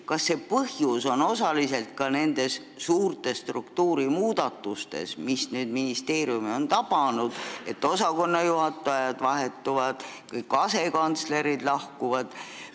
Kas põhjus on osaliselt ka nendes suurtes struktuurimuudatustes, mis on ministeeriumi tabanud: osakonnajuhatajad vahetuvad, kõik asekantslerid lahkuvad?